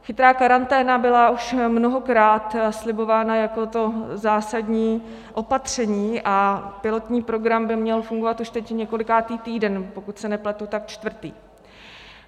Chytrá karanténa byla už mnohokrát slibována jako to zásadní opatření a pilotní program by měl fungovat už teď několikátý týden, pokud se nepletu, tak čtvrtý.